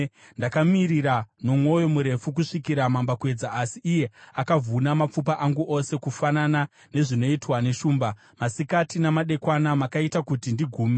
Ndakamirira nomwoyo murefu kusvikira mambakwedza, asi iye akavhuna mapfupa angu ose kufanana nezvinoitwa neshumba; masikati namadekwana makaita kuti ndigume.